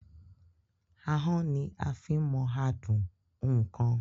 Ahán ní a fí ń mọ àádùn oun kan.